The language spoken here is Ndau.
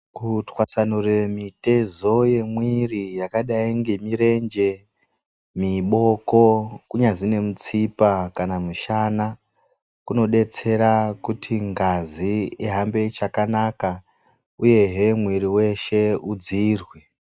Kutswatsanure mitezo yemwiri yakadai nemirenje, miboko kunyazi nemutsipa kana mushana kunodetsera kuti ngazi ihambe chakanaka uyehe mwiri weshe udziirwe.